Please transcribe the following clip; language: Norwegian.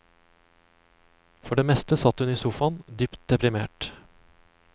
For det meste satt hun i sofaen, dypt deprimert.